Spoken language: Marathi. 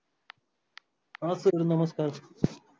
हा sir नमस्कार.